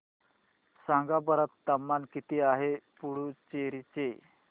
सांगा बरं तापमान किती आहे पुडुचेरी चे